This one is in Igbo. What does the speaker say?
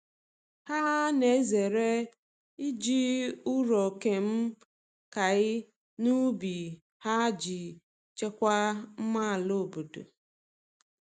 Ha na-ezere iji ụrọ kemịkal n’ubi ha iji chekwaa mma ala obodo.